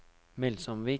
Melsomvik